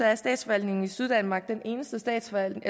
er statsforvaltningen i syddanmark den eneste statsforvaltning